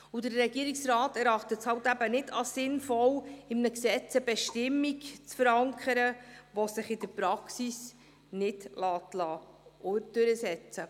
Der Regierungsrat erachtet es nicht als sinnvoll, in einem Gesetz eine Bestimmung zu verankern, die sich in der Praxis nicht durchsetzen lässt.